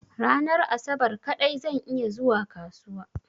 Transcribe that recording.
Ranar asabar kaɗai zan iya zuwa kasuwa.